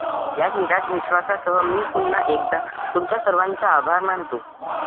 याच विश्वासासह मी पुन्हा एकदा तुम्हा सर्वांचे आभार मानतो.